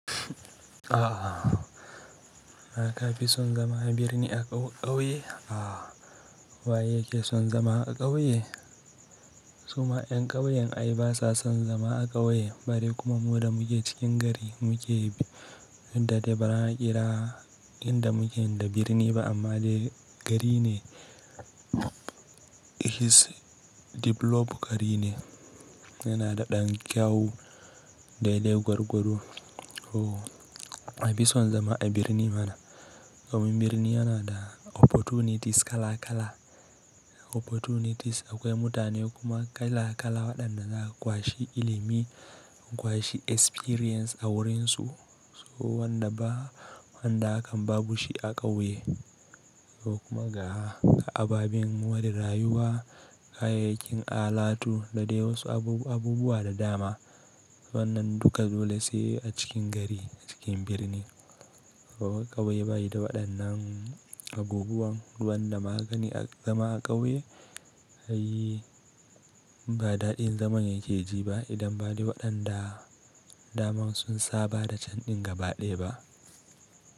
Ah, ka fi son zama a birni a ƙauye? Ah, wa yake son zama a ƙauye? Su ma 'yan ƙauyen ai ba sa son zama a ƙauye bare kuma mu da muke cikin gari muke duk da dai bara a ƙira inda muken da birni ba amma dai gari ne. His develop gari ne, yana da ɗan kyau dai dai gwargwado. Oh, anfi son zama a birni mana. Domin birni yana da opportunities kala kala. Opportunities akwai mutane kuma kala kala waɗanda za a kwashi ilimi, akwashi experience a wurinsu. So wanda ba wanda hakan babu shi a ƙauye ko kuma ga ababen more rayuwa, kayayyakin alatu da dai wasu abubuwa da dama. Wannan duka dole sai a cikin gari a cikin birni. Ƙauye bayi da waɗannan abubuwan. Wanda ma kagani a zama a ƙauye ai ba daɗin zaman yake ji ba idan ba dai waɗanda daman sun saba da candin gabaɗaya ba.